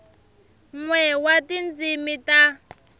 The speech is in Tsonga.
n we wa tindzimi ta